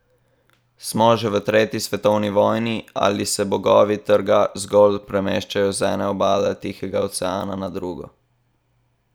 Smo že v tretji svetovni vojni ali se bogovi trga zgolj premeščajo z ene obale Tihega oceana na drugo?